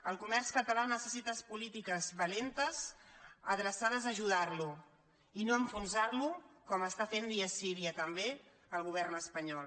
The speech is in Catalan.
el comerç català necessita polítiques valentes adreçades a ajudar lo i no a enfonsar lo com està fent dia sí dia també el govern espanyol